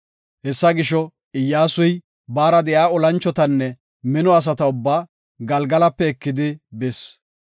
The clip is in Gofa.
Hessa gisho, Iyyasuy, baara de7iya olanchotanne mino asata ubbaa, Galgalape ekidi bis.